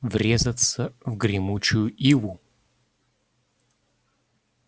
врезаться в гремучую иву